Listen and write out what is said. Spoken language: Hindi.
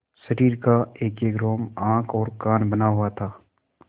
शरीर का एकएक रोम आँख और कान बना हुआ था